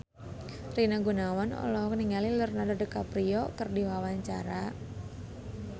Rina Gunawan olohok ningali Leonardo DiCaprio keur diwawancara